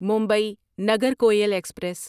Mumbai Nagercoil express